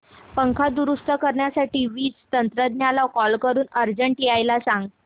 पंखा दुरुस्त करण्यासाठी वीज तंत्रज्ञला कॉल करून अर्जंट यायला सांग